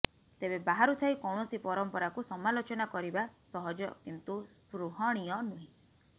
ତେବେ ବାହାରୁ ଥାଇ କୌଣସି ପରମ୍ପରାକୁ ସମାଲୋଚନା କରିବା ସହଜ କିନ୍ତୁ ସ୍ପୃହଣୀୟ ନୁହେଁ